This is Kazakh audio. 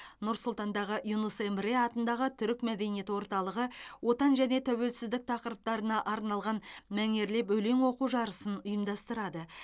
нұр сұлтандағы юнус эмре атындағы түрік мәдениет орталығы отан және тәуелсіздік тақырыптарына арналған мәнерлеп өлең оқу жарысын ұйымдастырады